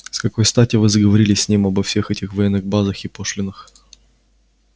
с какой стати вы заговорили с ним обо всех этих военных базах и пошлинах